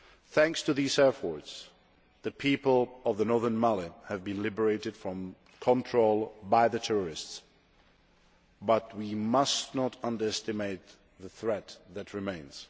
Thanks to these efforts, the people of northern Mali have been liberated from control by the terrorists, but we must not underestimate the threat that remains.